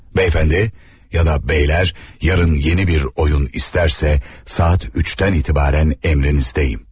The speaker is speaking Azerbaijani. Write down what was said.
Bəyəfəndi ya da bəylər yarın yeni bir oyun istərsə saat 3-dən etibarən əmrinizdəyəm.